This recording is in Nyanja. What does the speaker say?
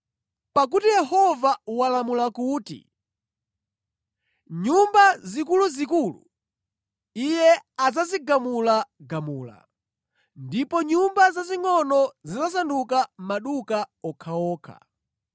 Pakuti Yehova walamula kuti nyumba zikuluzikulu Iye adzazigamulagamula, ndipo nyumba zazingʼono zidzasanduka maduka okhaokha.